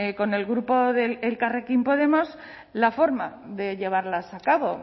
con el grupo elkarrekin podemos la forma de llevarlas a cabo